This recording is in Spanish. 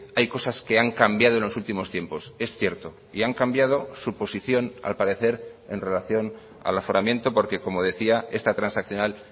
hay cosas que han cambiado en los últimos tiempos es cierto y han cambiado su posición al parecer en relación al aforamiento porque como decía esta transaccional